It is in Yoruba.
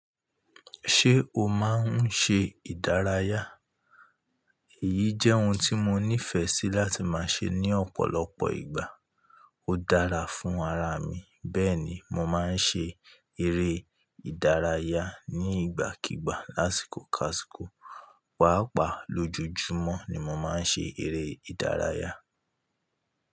Ṣé o máa ń ṣe ìdárayá? Èyí jẹ́ ohun tí mo nífẹ̀ẹ́ sí láti máa ṣe ní ọ̀pọ̀lọpọ̀ ìgbà. Ó dára fún ara mi. Bẹ́ẹ̀ ni, mo máa ń ṣe eré ìdárayá ní ìgbàkígbà lásìkò káàsìkò. Pàápàá lójojúmọ́ ni mo máa ń ṣe eré ìdárayá.